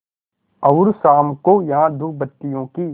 और शाम को यहाँ धूपबत्तियों की